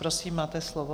Prosím, máte slovo.